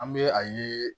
An bɛ a ye